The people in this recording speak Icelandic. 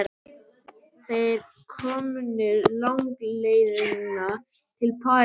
Þeir eru komnir langleiðina til Parísar.